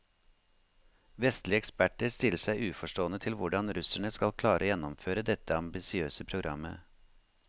Vestlige eksperter stiller seg uforstående til hvordan russerne skal klare å gjennomføre dette ambisiøse programmet.